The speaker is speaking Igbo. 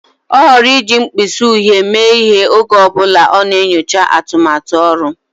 Ọ họọrọ iji mkpịsị uhie mee ihe oge ọ bụla ọ na-enyocha atụmatụ ọrụ.